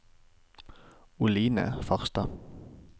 Oline Farstad